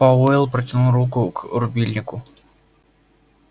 пауэлл протянул руку к рубильнику